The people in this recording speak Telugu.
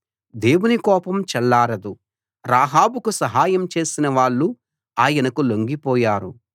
దేవుని కోపం చల్లారదు రాహాబుకు సహాయం చేసిన వాళ్ళు ఆయనకు లొంగిపోయారు